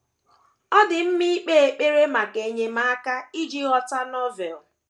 Ọ dị mma ikpe ekpere maka enyemaka iji ghọta Novel